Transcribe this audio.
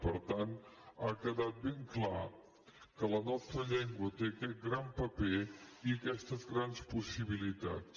per tant ha quedat ben clar que la nostra llengua té aquest gran paper i aquestes grans possibilitats